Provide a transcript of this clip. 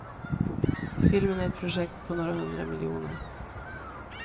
Filmen är ett projekt på några hundra miljoner.